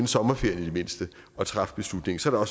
sommerferien og træffe beslutningen så er